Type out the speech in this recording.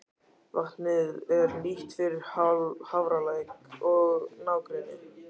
Vatnið er nýtt fyrir Hafralæk og nágrenni.